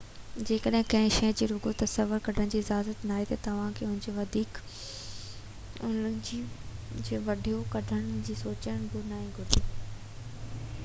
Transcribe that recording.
جيڪڏهن ڪنهن شئي جي رڳو تصوير ڪڍڻ جي اجازت ناهي ته توهانکي ان جي وڊيو ڪڍڻ جو سوچڻ به نه گهرجي